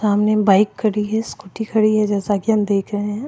सामने बाइक खड़ी हैं स्कूटी खड़ी हैं जैसा के हम देख रहे हैं।